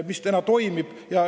Kõik see toimib.